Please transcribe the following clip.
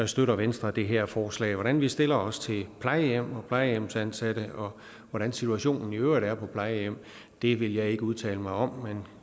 støtter venstre det her forslag hvordan vi stiller os til plejehjem og plejehjemsansatte og hvordan situationen i øvrigt er på plejehjem vil jeg ikke udtale mig om men